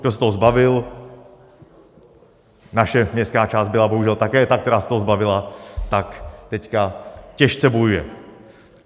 Kdo se toho zbavil - naše městská část byla bohužel také ta, která se toho zbavila - tak teď těžce bojuje.